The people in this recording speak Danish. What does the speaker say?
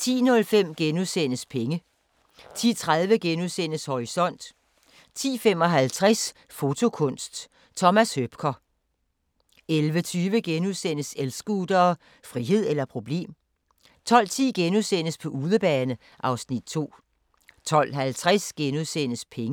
10:05: Penge * 10:30: Horisont * 10:55: Fotokunst: Thomas Hoepker 11:20: El-scootere – frihed eller problem? * 12:10: På udebane (Afs. 2)* 12:50: Penge *